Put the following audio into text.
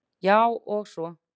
Já, og svo.